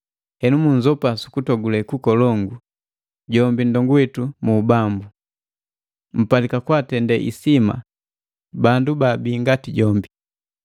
Henu munzopa sukutogule kukolongu, jombi nndongu witu mu Bambu. Mpalika kwaatende isima bandu baabi ngati jombi,